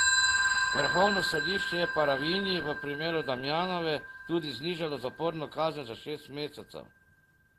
Vrhovno sodišče je Paravinji v primeru Damjanove tudi znižalo zaporno kazen za šest mesecev.